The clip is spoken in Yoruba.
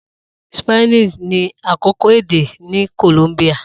Spanish ni akọkọ ede ni Colombia.